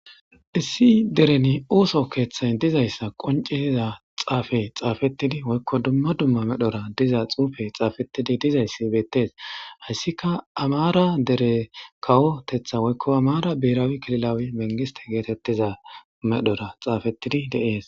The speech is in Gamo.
Issi dereni ooso keeththay dizayssa qoncitiza xaafe xaafettidi woykko dumma dumma medhora diza xuufe xaafettidi dizayssi beettes hayssika amara dere kawotetha woykko amaara biirawi kililawi mengiste geetettiza medhora xaafettidi deees.